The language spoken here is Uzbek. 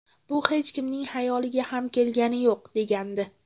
Bu hech kimning xayoliga ham kelgani yo‘q”, degandi.